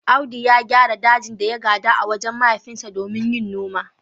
Audu ya gyara dajin da ya gada a wajen mahaifinsa domin yin noma.